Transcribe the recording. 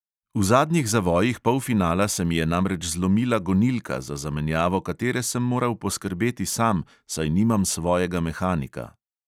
V zadnjih zavojih polfinala se mi je namreč zlomila gonilka, za zamenjavo katere sem moral poskrbeti sam, saj nimam svojega mehanika.